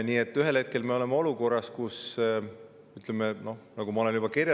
Ma olen juba kirjeldanud, millises olukorras me ühel